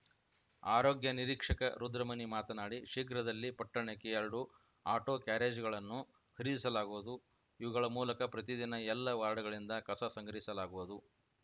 ಆರೋಗ್ಯ ನಿರೀಕ್ಷಕ ರುದ್ರಮುನಿ ಮಾತನಾಡಿ ಶೀಘ್ರದಲ್ಲಿ ಪಟ್ಟಣಕ್ಕೆ ಎರಡು ಆಟೋಕ್ಯಾರೇಜ್‌ಗಳನ್ನು ಖರೀದಿಸಲಾಗುವುದು ಇವುಗಳ ಮೂಲಕ ಪ್ರತಿ ದಿನ ಎಲ್ಲ ವಾರ್ಡ್‌ಗಳಿಂದ ಕಸ ಸಂಗ್ರಹಿಸಲಾಗುವುದು